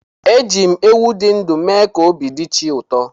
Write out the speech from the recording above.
Eji m ewu dị ndụ mee ka obi dị chi ụtọ.